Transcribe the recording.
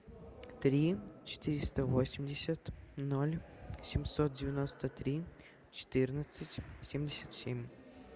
три четыреста восемьдесят ноль семьсот девяносто три четырнадцать семьдесят семь